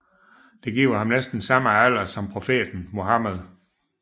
Det giver ham næsten den samme alder som profeten Muhammed